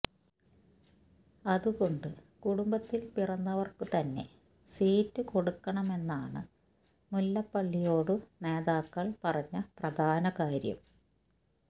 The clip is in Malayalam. അതുകൊണ്ട് കുടുംബത്തിൽ പിറന്നവർക്കുതന്നെ സീറ്റു കൊടുക്കണമെന്നാണ് മുല്ലപ്പള്ളിയോടു നേതാക്കൾ പറഞ്ഞ പ്രധാന കാര്യം